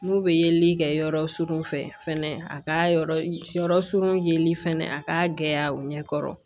N'u bɛ yeli kɛ yɔrɔ surun fɛ fɛnɛ a ka yɔrɔ su yeli fɛnɛ a ka gɛlɛya u ɲɛ kɔrɔ